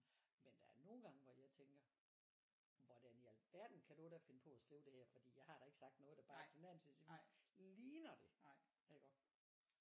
Men der er nogle gange hvor jeg tænker hvordan i alverden kan du da finde på at skrive det her fordi jeg har da ikke sagt noget der bare tilnærmelsesvist ligner det iggå